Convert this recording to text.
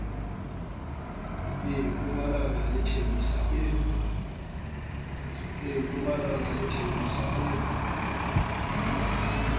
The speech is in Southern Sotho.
e mpumalanga le thembisa e